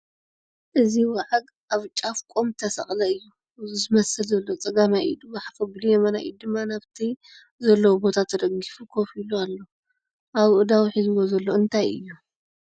እዚ ዋዓግ ኣብ ጫፍ ቖም ተሰቐለ እዩ ዝመስል ዘሎ ፡ ፀጋማይ ኢዱ ሓፍ ኣቢሉ የማናይ ኢዱ ድማ ናብቲ ዘለዎ ቦታ ተደጊፉ ከፍ ኢሉ ኣሎ ? ኣብ ኣእዳዉ ሒዙዎ ዘሎ እንታይ'ዩ ?